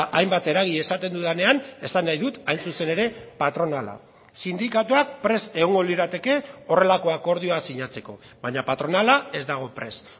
hainbat eragile esaten dudanean esan nahi dut hain zuzen ere patronala sindikatuak prest egongo lirateke horrelako akordioaz sinatzeko baina patronala ez dago prest